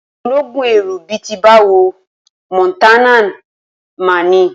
Ológúnẹrú bí i ti báwo? Mọ̀nátán máa ni.